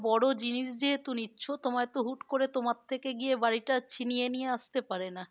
বড়ো জিনিস যেহেতু নিচ্ছ তোমায় তো হুট করে তোমার থেকে গিয়ে বাড়িটা ছিনিয়ে নিয়ে আসতে পারে না।